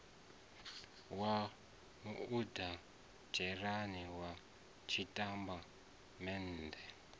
wa muoditha dzhenerala wa zwitatamennde